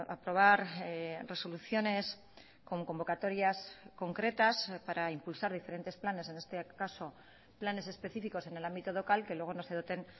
aprobar resoluciones con convocatorias concretas para impulsar diferentes planes en este caso planes específicos en el ámbito local que luego no se doten